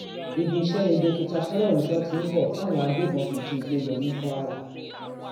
ibi iṣẹ ni dókítà fọlọrunṣọ tí ń bọ táwọn agbébọn fi jí i gbé lọ ní kwara